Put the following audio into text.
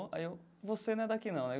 Aí eu, você não é daqui não, né?